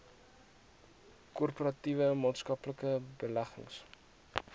korporatiewe maatskaplike beleggings